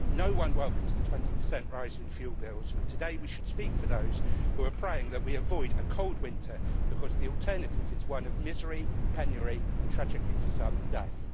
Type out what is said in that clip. No one welcomes the 20 rise in fuel bills, but today we should speak for those who are praying that we avoid a cold winter because the alternative is one of misery, penury and, tragically for some, death.